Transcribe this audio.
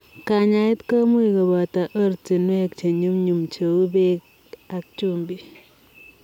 Kanyaet komuuch kopotoo ortinwek chenyumnyum cheu pek ap chumbik .